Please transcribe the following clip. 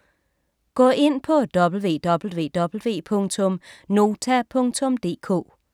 Gå ind på www.nota.dk